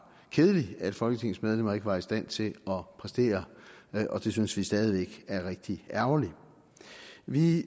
kedeligt at folketingets medlemmer ikke var i stand til at præstere og det synes vi stadig væk er rigtig ærgerligt vi